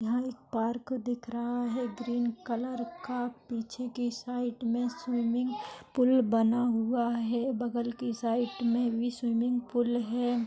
यहाँ एक पार्क दिख रहा है कलर का पीछे के साइड मे स्विमिंग पूल बना हुआ है बगल के साइड मे भी स्विमिंग पूल है।